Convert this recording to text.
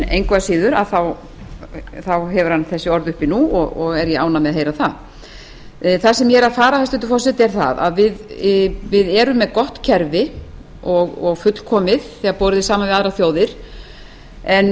engu að síður hefur hann þessi orð uppi nú og er ég ánægð með að heyra það það sem ég er að fara hæstvirtur forseti er það að við erum með gott kerfi og fullkomið þegar það er borið saman við kerfi annarra þjóða en